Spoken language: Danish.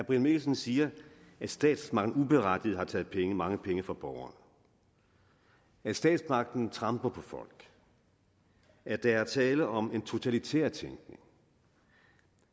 brian mikkelsen siger at statsmagten uberettiget har taget penge mange penge fra borgerne at statsmagten tramper på folk at der er tale om en totalitær tænkning